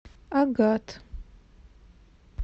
агат